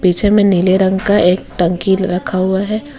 पीछे में नीले रंग का एक टंकी रखा हुआ है।